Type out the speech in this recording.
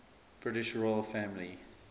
british royal family